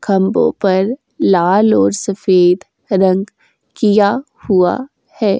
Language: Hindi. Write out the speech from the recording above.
खम्बों पर लाल और सफ़ेद रंग किया हुआ है।